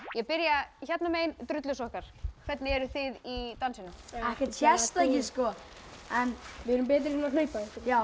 ég byrja hérna megin drullusokkar hvernig eruð þið í dansinum ekkert sérstakir sko en við erum betri í að hlaupa já